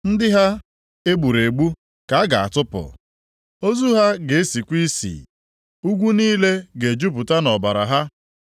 Ndị ha e gburu egbu ka a ga-atụpụ. Ozu ha ga-esikwa isi. Ugwu niile ga-ejupụta nʼọbara ha.